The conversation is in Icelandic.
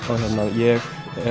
ég